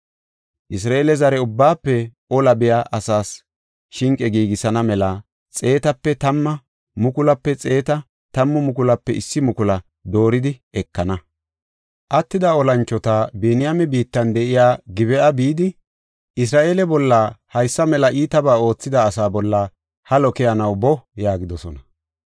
Isra7eele zare ubbaafe ola biya asaas shinqe giigisana mela xeetape tamma, mukulaape xeetaa, tammu mukulaape issi mukula dooridi ekana. Attida olanchoti Biniyaame biittan de7iya Gib7a bidi, Isra7eele bolla haysa mela iitabaa oothida asaa bolla halo keyanaw boo” yaagidosona.